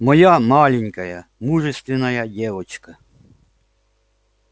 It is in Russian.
моя маленькая мужественная девочка